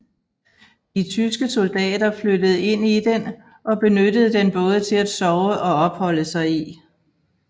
De tyske soldater flyttede ind i den og benyttede den både til at sove og opholde sig i